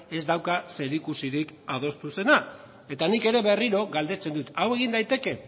ez dauka zerikusirik adostu zenarekin eta nik ere berriro galdetzen dut hau egin daiteke